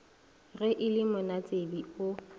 ge e le monatsebe o